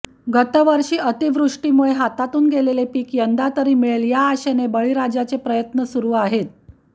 गतवर्षी अतिवृष्टीमुळे हातातून गेलेले पीक यंदातरी मिळेल या आशेने बळीराजाचे प्रयत्न सुरू आहेत